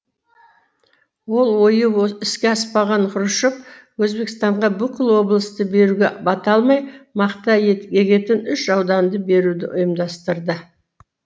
ол ойы іске аспаған хрущев өзбекстанға бүкіл облысты беруге бата алмай мақта егетін үш ауданды беруді ұйымдастырды